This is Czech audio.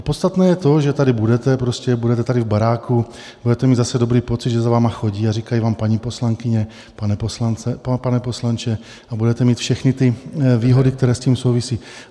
A podstatné je to, že tady budete prostě, budete tady v baráku, budete mít zase dobrý pocit, že za vámi chodí a říkají vám paní poslankyně, pane poslanče, a budete mít všechny ty výhody, které s tím souvisí.